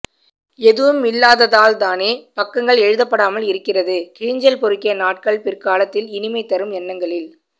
எதுவுமில்லாததால்தானே பக்கங்கள் எழுதப் படாமல் இருகிறதுகிழிஞ்சல் பொறுக்கிய நாட்கள் பிற்காலத்தில் இனிமை தரும் எண்ணங்களில்